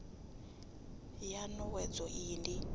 ya n owedzo iyi ndi